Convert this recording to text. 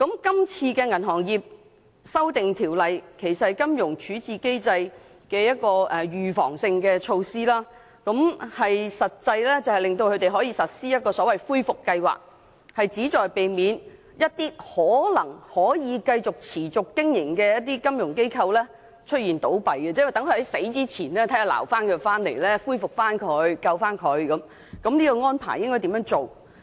今次的《條例草案》其實是有關金融處置機制的預防性措施，實際上是令恢復計劃可予實施，以避免一些可能可以繼續持續經營的金融機構倒閉，即是說，在金融機構倒閉前嘗試作出挽救，恢復或拯救機構，並訂明應如何作出有關安排。